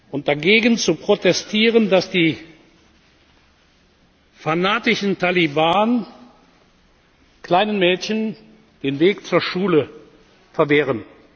und dagegen zu protestieren, dass die fanatischen Taliban kleinen Mädchen den Weg zur Schule verwehren.